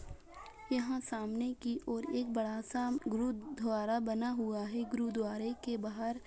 यहाँ सामने की ओर एक बड़ा सा गुरुद्वारा बना हुआ है गुरुद्वारा के बाहर --